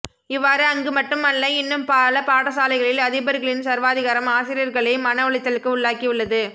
இவ்வாறு அங்கு மட்டும் அல்ல இன்னும் பல பாடசாலைகளில் அதிபர்களின் சர்வாதிகாரம் ஆசிரியர்களை மன உளைச்சலுக்கு உள்ளாக்கி உள்ளது